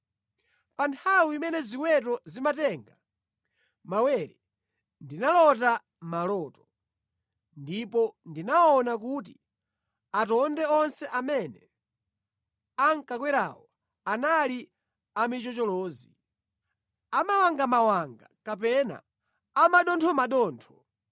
“Pa nthawi imene ziweto zimatenga mawere ndinalota maloto, ndipo ndinaona kuti atonde onse amene ankakwerawo anali amichocholozi, amawangamawanga kapena amathothomathotho